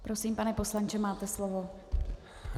Prosím, pane poslanče, máte slovo.